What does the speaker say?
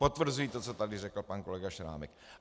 Potvrzuji to, co tady řekl pan kolega Šrámek.